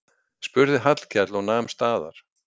spurði Hallkell og nam staðar.